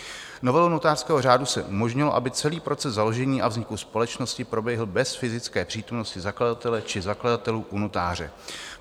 Novelou notářského řádu se umožnilo, aby celý proces založení a vzniku společnosti proběhl bez fyzické přítomnosti zakladatele či zakladatelů u notáře.